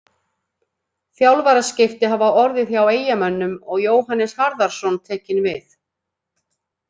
Þjálfaraskipti hafa orðið hjá Eyjamönnum og Jóhannes Harðarson tekinn við.